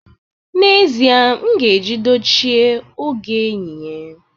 N'ezie, m ga-eji dochie oge yinye